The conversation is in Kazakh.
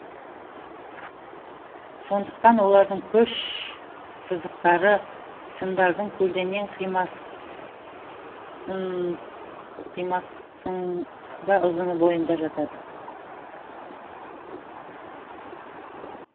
сондықтан олардың күш сызықтары сымдардың көлденең қимасыңда ұзына бойында жатады